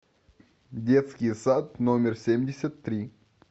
детский сад номер семьдесят три